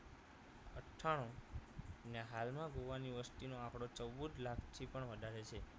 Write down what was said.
અઠાણુ અને હાલ માં ગોવા ની વસ્તી નો આંકડો ચૌદ લાખ થી પણ વધારે છે